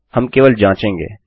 हम केवल जाँचेंगे